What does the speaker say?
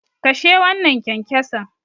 Kashe wannan kyankyason.